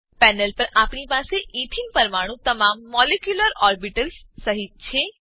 panel પર આપણી પાસે એથેને ઇથીન પરમાણુ તમામ મોલિક્યુલર ઓર્બિટલ્સ સહીત છે